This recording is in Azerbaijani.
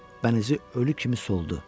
Bənizi ölü kimi soldu.